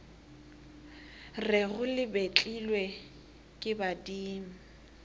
rego le betlilwe ke badimo